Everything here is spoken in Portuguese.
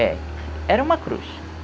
É. Era uma cruz.